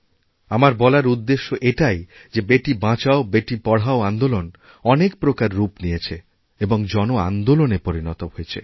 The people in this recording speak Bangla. আমার বলার উদ্দেশ্য এটাই যে বেটি বাঁচাও বেটি পড়াও আন্দোলন অনেক প্রকার রূপনিয়েছে এবং জন আন্দোলনে পরিণত হয়েছে